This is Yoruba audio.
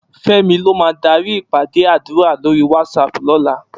Femi ló má dàri ipàdé àdúrá lóri WhatsApp lòlá